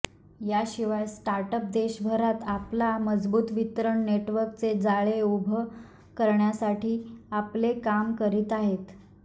याशिवाय स्टार्टअप देशभरात आपला मजबूत वितरण नेटवर्कचे जाळे उभा करण्यासाठी आपले काम करीत आहेत